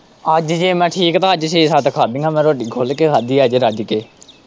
ਅੱਜ ਜੇ ਮੈਂ ਠੀਕ ਤਾਂ ਅੱਜ ਛੇ-ਸੱਤ ਖਾਂਧੀਆਂ ਮੈਂ ਰੋਟੀਆਂ ਖੁੱਲ ਕੇ ਖਾਂਧੀ ਅੱਜ ਰੱਜ਼ ਕੇ।